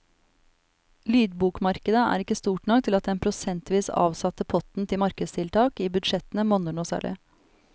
Lydbokmarkedet er ikke stort nok til at den prosentvis avsatte potten til markedstiltak i budsjettene monner noe særlig.